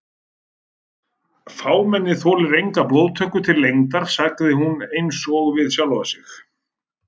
Fámennið þolir enga blóðtöku til lengdar sagði hún einsog við sjálfa sig.